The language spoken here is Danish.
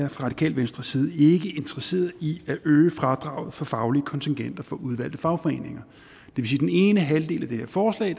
radikale venstres side ikke er interesseret i at øge fradraget for faglige kontingenter for udvalgte fagforeninger den ene halvdel af det her forslag